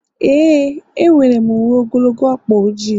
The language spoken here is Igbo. ee, enwere m uwe ogologo ọkpa ojii